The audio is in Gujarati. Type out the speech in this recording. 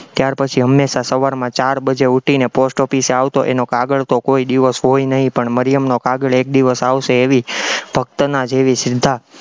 ત્યારપછી હંમેશા સવારના ચાર બજે ઉઠીને post office એ આવતો, એનો કાગળ તો કોઈ દિવસ હોય નહીં પણ મરિયમનો કાગળ એક દિવસ આવશે એવી ભક્તના જેવી શ્રદ્ધા